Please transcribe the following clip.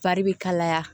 Fari bɛ kalaya